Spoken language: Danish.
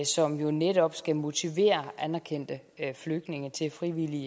som netop skal motivere anerkendte flygtninge til frivilligt